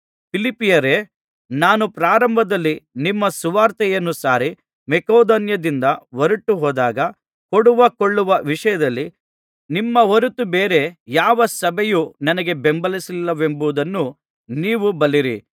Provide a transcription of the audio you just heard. ಫಿಲಿಪ್ಪಿಯವರೇ ನಾನು ಪ್ರಾರಂಭದಲ್ಲಿ ನಿಮ್ಮಲ್ಲಿ ಸುವಾರ್ತೆಯನ್ನು ಸಾರಿ ಮಕೆದೋನ್ಯದಿಂದ ಹೊರಟುಹೋದಾಗ ಕೊಡುವ ಕೊಳ್ಳುವ ವಿಷಯದಲ್ಲಿ ನಿಮ್ಮ ಹೊರತು ಬೇರೆ ಯಾವ ಸಭೆಯೂ ನನಗೆ ಬೆಂಬಲಿಸಲ್ಲಿಲ್ಲವೆಂಬುದನ್ನು ನೀವೂ ಬಲ್ಲಿರಿ